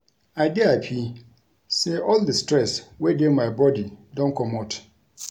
I dey happy say all the stress wey dey my body don comot